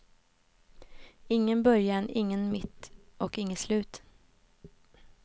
Ingen början, ingen mitt och inget slut.